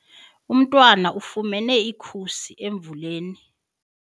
Umntwana ufumene ikhusi emvuleni.